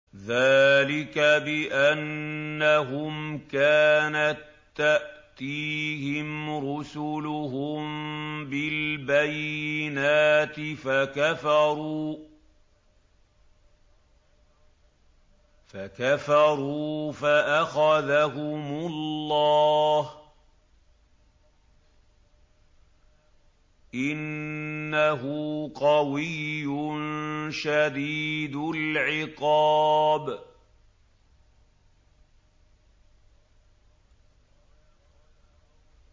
ذَٰلِكَ بِأَنَّهُمْ كَانَت تَّأْتِيهِمْ رُسُلُهُم بِالْبَيِّنَاتِ فَكَفَرُوا فَأَخَذَهُمُ اللَّهُ ۚ إِنَّهُ قَوِيٌّ شَدِيدُ الْعِقَابِ